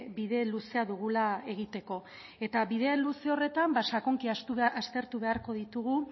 bide luzea dugula egiteko eta bide luze horretan sakonki aztertu beharko ditugu